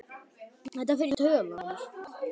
Þetta fer í taugarnar á mér.